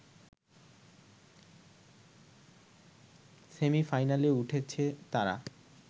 সেমি-ফাইনালে উঠেছে তারা